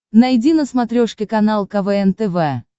найди на смотрешке канал квн тв